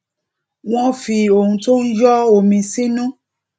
wón fi ohun tó ń yó omi sínú